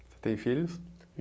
Você tem filhos?